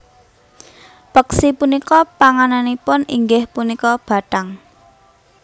Peksi punika pangananipun inggih punika bathang